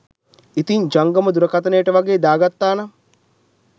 ඉතින් ජංගම දුරකථනයටවගේ දාගත්තා නම්